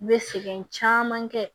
I bɛ sɛgɛn caman kɛ